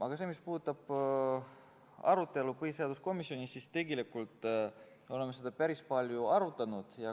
Aga mis puudutab arutelu põhiseaduskomisjonis, siis tegelikult oleme seda eelnõu päris palju arutanud.